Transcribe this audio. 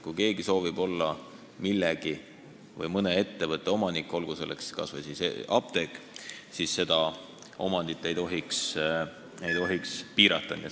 Kui keegi soovib olla mõne ettevõtte või millegi muu, näiteks apteegi omanik, siis seda omandit ei tohiks piirata.